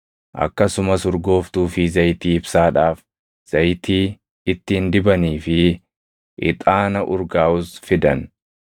Akkasumas urgooftuu fi zayitii ibsaadhaaf, zayitii ittiin dibanii fi ixaana urgaaʼus fidan.